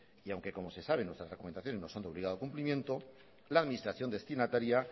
y aunque como se sabe nuestras recomendaciones no son de obligado cumplimiento la administración destinataria